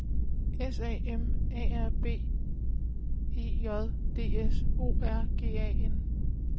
S A M A R B E J D S O R G A N